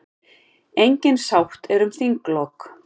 Engin sátt er um þinglok.